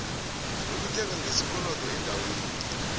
lokuthenga ngesikolodo eendaweni